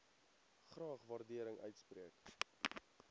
graag waardering uitspreek